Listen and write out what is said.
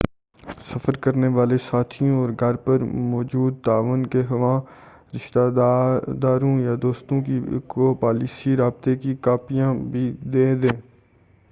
سفر کرنے والے ساتھیوں، اور گھر پر موجود تعاون کے خواہاں رشتہ داروں یا دوستوں کو پالیسی/رابطے کی کاپیاں بھی دے دیں۔